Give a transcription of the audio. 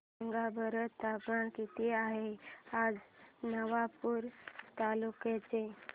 सांगा बरं तापमान किता आहे आज नवापूर तालुक्याचे